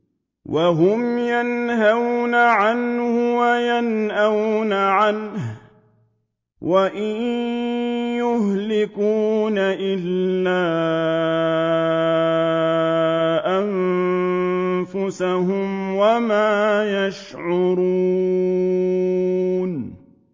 وَهُمْ يَنْهَوْنَ عَنْهُ وَيَنْأَوْنَ عَنْهُ ۖ وَإِن يُهْلِكُونَ إِلَّا أَنفُسَهُمْ وَمَا يَشْعُرُونَ